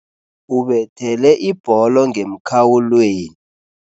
Ubethele ibholo ngemkhawulweni.